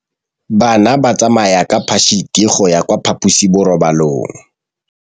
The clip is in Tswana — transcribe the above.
Bana ba tsamaya ka phašitshe go ya kwa phaposiborobalong.